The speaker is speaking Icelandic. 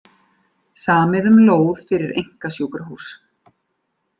Samið um lóð fyrir einkasjúkrahús